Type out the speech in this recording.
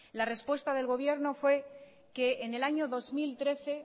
la respuesta del gobierno fue que en el año dos mil trece